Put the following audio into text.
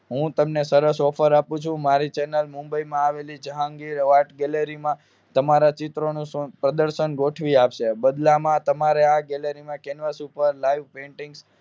હું તમને સરસ ઓફર આપું છું મારી ચેનલ મુંબઈમાં આવેલી જહાંગીર આર્ટ ગેલેરી માં તમારા ચિત્ર પ્રદર્શન ગોઠવી આપશે બદલામાં તમારે આ ગેલેરીમાં કેન્વાસ ઉપર લાઈવ Painting